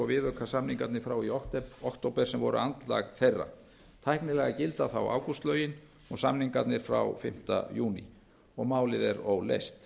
viðaukasamningarnir frá í október sem voru andlag þeirra tæknilega gilda þá ágústlögin og samningarnir frá fimmta júní og málið er óleyst